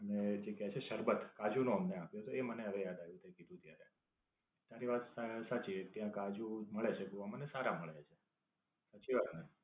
અને જે કી છે શરબત કાજુ નું અમને આપ્યું હતું એ મને હવે આવ્યું તે કીધું ત્યારે. તારી વાત સા સાચી છે. ત્યાં કાજુ મળે છે ગોવા માં અને સારા મળે છે. સાચી વાત ને?